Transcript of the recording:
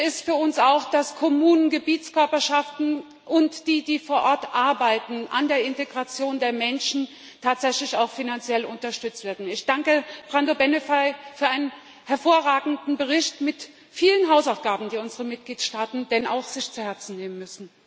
Wichtig für uns ist auch, dass Kommunen, Gebietskörperschaften und die, die vor Ort an der Integration der Menschen arbeiten, tatsächlich auch finanziell unterstützt werden. Ich danke Brando Benifei für einen hervorragenden Bericht mit vielen Hausaufgaben, die unsere Mitgliedstaaten sich dann auch zu Herzen nehmen müssen.